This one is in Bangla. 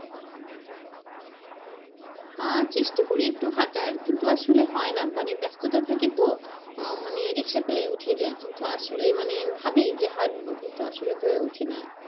আহ চেষ্টা করি একটু হাঁটার কিন্তু আসলে হয় না মানে ব্যাস্ততা থাকে তো মানে রিকশা পেলেই উঠে যায় কিন্তু আসলে মানে ভাবি যে হাঁটবো আসলে হয়ে ওঠেনা।